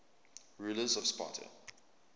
rulers of sparta